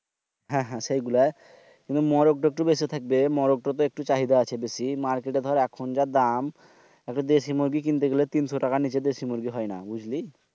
হ্যাঁ হ্যাঁ সেইগুলা। কিন্তু মুরগ একটু বেশি থাকবে। মুরগটা তে একটু চাহিদা আছে বেশি Market যা এখন অনেক দাম। একটা দেশি মুরগী কিনতে গেলে তিনশ টাকার নিচে কিনা যায়না বুঝলি?